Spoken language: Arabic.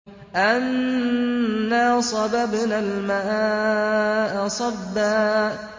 أَنَّا صَبَبْنَا الْمَاءَ صَبًّا